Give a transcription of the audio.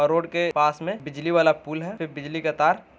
और रोड के पास में बिजली वाला पुल हैं फिर बिजली का तार --